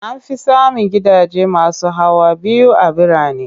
An fi samun gidaje masu hawa biyu a birane.